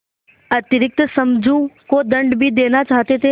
अतिरिक्त समझू को दंड भी देना चाहते थे